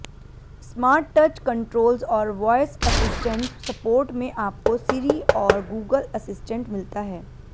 smart touch controls और voice assistant support में आपको सिरी और गूगल असिस्टेंट मिलता है